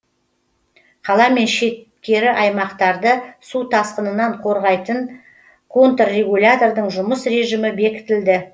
қала мен шеткері аймақтарды су тасқынынан қорғайтын контрегулятордың жұмыс режімі бекітілді